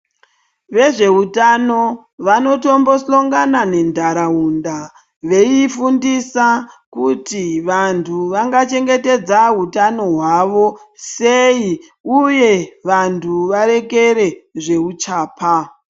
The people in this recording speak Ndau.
Vezveutano vanotombosongana nentaraunda veiifundisa kuti vantu vangachengetedza hutano hwavo sei uye vantu varekere zveuchapa.